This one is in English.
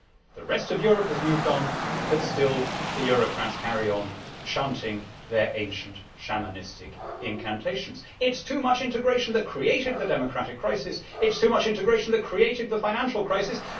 The rest of Europe has moved on but still the Eurocrats carry on chanting their ancient shamanistic incantations. It is too much integration that created the democratic crisis it is too much integration that created the financial crisis.